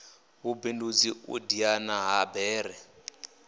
vhubindudzi u diana ha bere